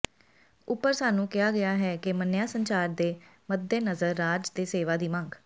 ਉੱਪਰ ਸਾਨੂੰ ਕਿਹਾ ਗਿਆ ਹੈ ਕਿ ਮੰਨਿਆ ਸੰਚਾਰ ਦੇ ਮੱਦੇਨਜ਼ਰ ਰਾਜ ਦੇ ਸੇਵਾ ਦੀ ਮੰਗ